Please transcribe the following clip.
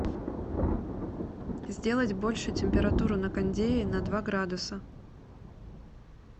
сделать больше температуру на кондее на два градуса